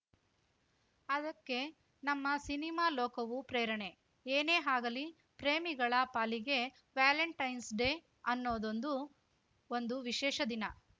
ಅದಕ್ಕೆ ನಮ್ಮ ಸಿನಿಮಾ ಲೋಕವೂ ಪ್ರೇರಣೆ ಏನೇ ಹಾಗಲಿ ಪ್ರೇಮಿಗಳ ಪಾಲಿಗೆ ವ್ಯಾಲೆಂಟೆನ್ಸ್‌ ಡೇ ಅನ್ನೋದೊಂದು ಒಂದು ವಿಶೇಷ ದಿನ